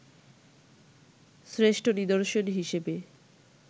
শ্রেষ্ঠ নিদর্শন হিসেবে